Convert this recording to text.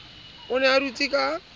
o ne a dutse ka